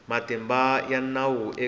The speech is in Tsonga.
na matimba ya nawu eka